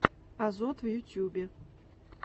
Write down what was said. азот в ютьюбе